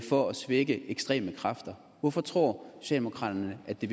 for at svække ekstreme kræfter hvorfor tror socialdemokraterne at det